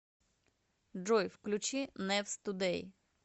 джой включи нэвс тудэй